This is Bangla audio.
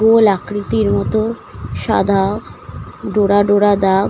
গোল আকৃতির মতো সাদা ডোরা ডোরা দাগ ।